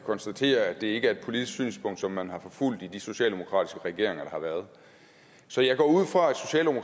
konstatere at det ikke er et politisk synspunkt som man har forfulgt i de socialdemokratiske regeringer der har været så jeg går ud fra